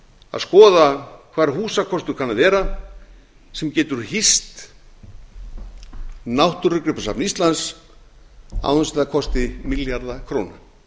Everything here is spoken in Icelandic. að skoða hvar húsakostur kann að vera sem getur hýst náttúrugripasafn íslands án þess að það kosti milljarða króna